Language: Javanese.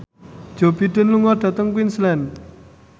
Joe Biden lunga dhateng Queensland